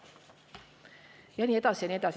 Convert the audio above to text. " Ja nii edasi ja nii edasi.